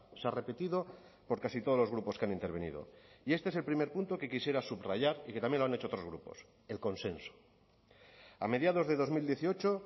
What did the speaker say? se ha repetido por casi todos los grupos que han intervenido y este es el primer punto que quisiera subrayar y que también lo han hecho otros grupos el consenso a mediados de dos mil dieciocho